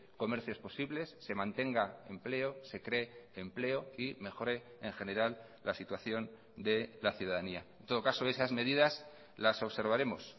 comercios posibles se mantenga empleo se cree empleo y mejore en general la situación de la ciudadanía en todo caso esas medidas las observaremos